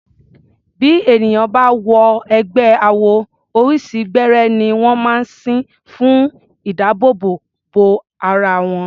Bí ènìyàn bá wọ ẹgbẹ́ awo, oríṣi gbẹ́rẹ́ ní wọ́n máa ń sín fún ìdábòòbò bo ara wọn.